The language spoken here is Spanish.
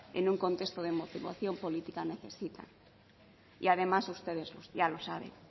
en un contexto de emoción política necesitan y además ustedes ya lo saben